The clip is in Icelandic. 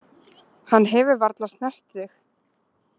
Hann hefur varla snert þig.